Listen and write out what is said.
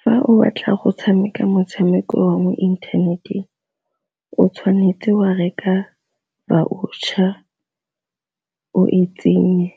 Fa o batla go tshameka motshameko wa mo inthaneteng o tshwanetse wa reka voucher o e tsenye